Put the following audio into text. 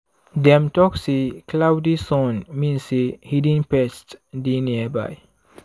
dem talk say cloudy sun mean say hidden pests dey nearby.